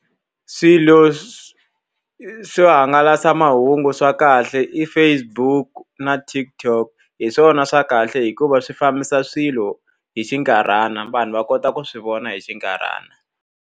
Swilo swo hangalasamahungu swa kahle i Facebook na TikTok. Hi swona swa kahle hikuva swi fambisa swilo hi xinkarhana. Vanhu va kota ku swi vona hi xinkarhana.